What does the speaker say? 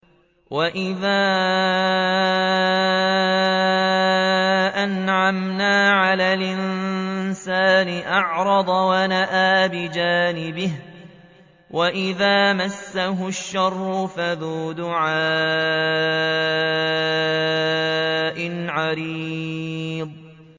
وَإِذَا أَنْعَمْنَا عَلَى الْإِنسَانِ أَعْرَضَ وَنَأَىٰ بِجَانِبِهِ وَإِذَا مَسَّهُ الشَّرُّ فَذُو دُعَاءٍ عَرِيضٍ